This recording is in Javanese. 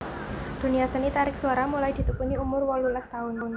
Dunia seni tarik suara mulai ditekuni umur wolulas taun